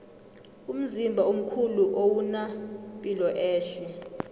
umzimba omkhulu owuna piloehle